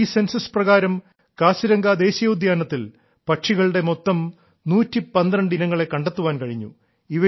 ഈ സെൻസസ് പ്രകാരം കാസിരംഗ ദേശീയ ഉദ്യാനത്തിൽ പക്ഷികളുടെ മൊത്തം 112 ഇനങ്ങളെ കണ്ടെത്താൻ കഴിഞ്ഞു